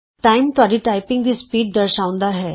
time ਤੁਹਾਡੀ typing ਦੀ speed ਦਰਸ਼ਾਉਂਦਾ ਹੈ